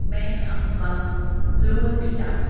बैंक आमका लोन दीता.